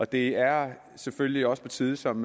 det er selvfølgelig også på tide som